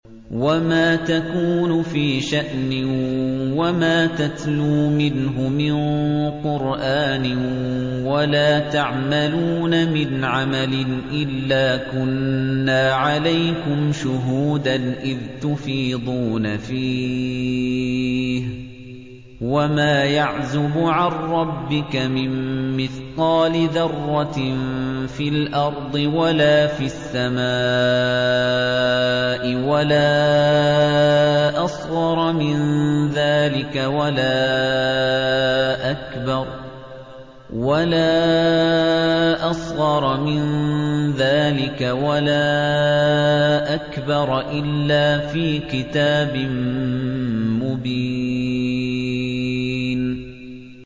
وَمَا تَكُونُ فِي شَأْنٍ وَمَا تَتْلُو مِنْهُ مِن قُرْآنٍ وَلَا تَعْمَلُونَ مِنْ عَمَلٍ إِلَّا كُنَّا عَلَيْكُمْ شُهُودًا إِذْ تُفِيضُونَ فِيهِ ۚ وَمَا يَعْزُبُ عَن رَّبِّكَ مِن مِّثْقَالِ ذَرَّةٍ فِي الْأَرْضِ وَلَا فِي السَّمَاءِ وَلَا أَصْغَرَ مِن ذَٰلِكَ وَلَا أَكْبَرَ إِلَّا فِي كِتَابٍ مُّبِينٍ